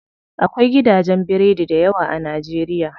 Akwai gidajen biredi dayawa a najeriya.